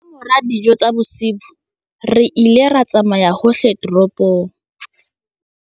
Ka mora dijo tsa bosiu re ile ra tsamaya hohle toropong.